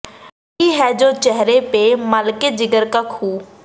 ਬੈਠੀ ਹੈ ਜੋ ਚੇਹਰੇ ਪੇ ਮਲ ਕੇ ਜਿਗਰ ਕਾ ਖ਼ੂੰ